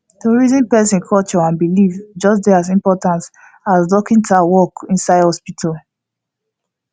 to reason person culture and believe dey just as important as dorkita work inside hospital